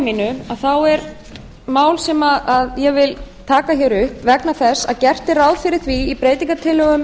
mínu þá er mál sem ég vil taka hér upp vegna þess að gert er ráð fyrir því í breytingartillögum